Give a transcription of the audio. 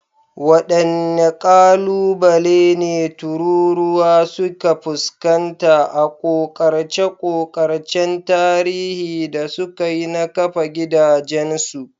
Waɗanne ƙalubale ne tururuwa suka fuskanta a ƙoƙarce-ƙoƙarcen tarihi da suka yi na kafa gidajensu?